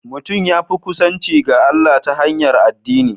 Mutum ya kusanci ga Allah ta hanyar addini